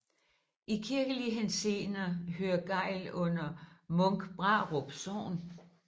I kirkelig henseende hører Gejl under Munkbrarup Sogn